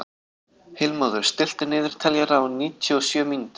Heilmóður, stilltu niðurteljara á níutíu og sjö mínútur.